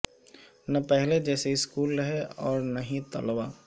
نہ پہلے جیسے سکول رہے اور نا ہی طلبا